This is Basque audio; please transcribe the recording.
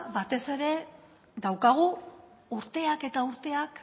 batez ere daukagu urteak eta urteak